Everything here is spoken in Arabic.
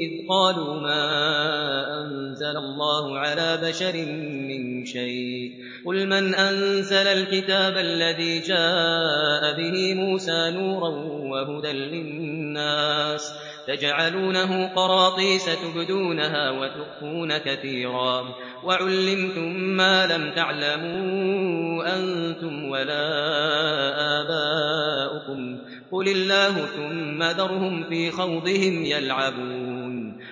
إِذْ قَالُوا مَا أَنزَلَ اللَّهُ عَلَىٰ بَشَرٍ مِّن شَيْءٍ ۗ قُلْ مَنْ أَنزَلَ الْكِتَابَ الَّذِي جَاءَ بِهِ مُوسَىٰ نُورًا وَهُدًى لِّلنَّاسِ ۖ تَجْعَلُونَهُ قَرَاطِيسَ تُبْدُونَهَا وَتُخْفُونَ كَثِيرًا ۖ وَعُلِّمْتُم مَّا لَمْ تَعْلَمُوا أَنتُمْ وَلَا آبَاؤُكُمْ ۖ قُلِ اللَّهُ ۖ ثُمَّ ذَرْهُمْ فِي خَوْضِهِمْ يَلْعَبُونَ